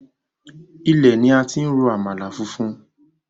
Ilẹ̀ ni a ti ń ro àmàlà funfun.